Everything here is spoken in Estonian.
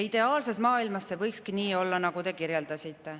Ideaalses maailmas see võikski nii olla, nagu te kirjeldasite.